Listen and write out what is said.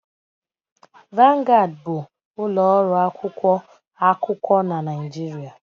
Vanguard bụ ụlọ ọrụ akwụkwọ akụkọ na Naịjirịa.